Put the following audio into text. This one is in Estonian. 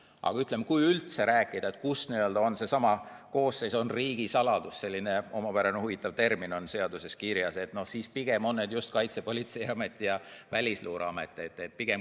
Aga kui üldse rääkida, kus on, et koosseis on riigisaladus – selline omapärane termin on seaduses kirjas –, siis pigem on need just Kaitsepolitseiamet ja Välisluureamet.